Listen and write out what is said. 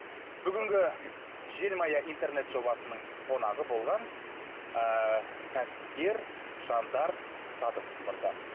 бүгінгі желмая интернет жобасының қонағы болған ыыы кәсіпкер жандар садықов мырза